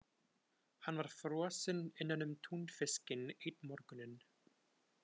Hann var frosinn innanum túnfiskinn einn morguninn.